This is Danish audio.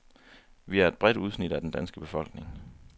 Vi er et bredt udsnit af den danske befolkning.